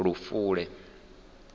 lufule